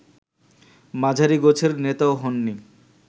মাঝারি গোছের নেতাও হননি